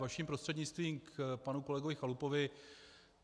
Vaším prostřednictvím k panu kolegovi Chalupovi.